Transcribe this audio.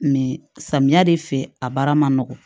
samiya de fɛ a baara ma nɔgɔn